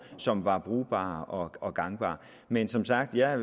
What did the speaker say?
som var brugbar og gangbar men som sagt vil jeg